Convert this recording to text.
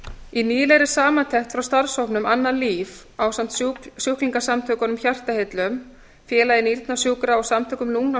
í nýlegri samantekt frá starfshópnum annað líf ásamt sjúklingasamtökunum hjartaheillum félagi nýrnasjúkra og samtökum